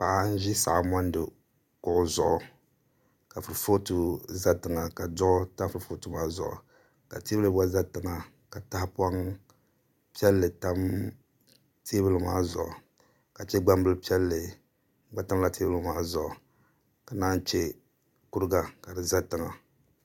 Paɣa n ʒi saɣa mondi kuɣu zuɣu ka kurifooti ʒɛ tiŋa ka duɣu tam kurifooti maa zuɣu ka teebuli gba ʒɛ tiŋa ka tahapoŋ piɛlli tam teebuli maa zuɣu ka chɛ gbambili piɛlli gba tamla teebuli maa zuɣu ka chɛ kuriga ka di ʒɛ tiŋa